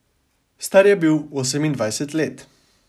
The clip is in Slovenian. Star je bil osemindvajset let.